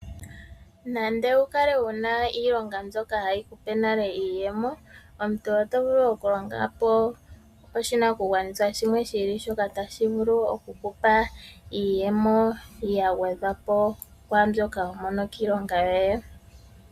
Nande owukale wuna iilonga mbyoka hayikupe nale iiyemo, omuntu oto vulu Okulonga po oshinakugwanitha shimwe shi ili shoka tashi vulu oku ku pa iiyemo yagwedhwa po pwaambyoka homono kiilonga yoye.